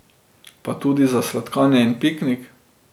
Pa tudi za sladkanje in piknik.